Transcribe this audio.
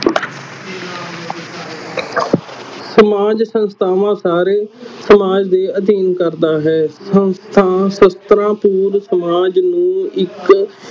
ਸਮਾਜ ਸੰਸਥਾਵਾ ਸਾਰੇ ਸਮਾਜ ਦੇ ਅਧੀਨ ਕਰਦਾ ਹੈ, ਸੰਸਥਾ, ਸ਼ਾਸਤਰਾਂ ਸਮਾਜ ਨੂੰ ਇਕ